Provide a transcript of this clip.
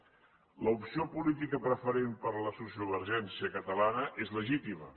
l’opció política preferent per la sociovergència catalana és legítima